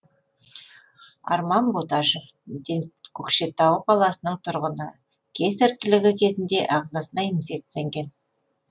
арман боташев көкшетау қаласының тұрғыны кесар тілігі кезінде ағзасына инфекция енген